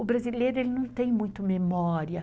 O brasileiro não tem muita memória.